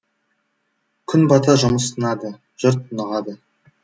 күн бата жұмыс тынады жұрт тынығады